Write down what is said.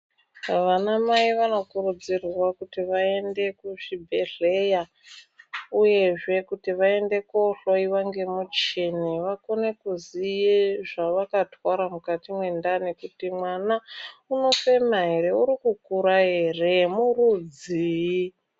Vanamai vanokurudzirwa kuti vaende kuzvibhedhleya, uyezve kuti vaende kuhloiwa ngemuchini vakone kuziye zvavakatwara mukati mendani. Kuti mwana unofema ere uri kukura ere murudzii.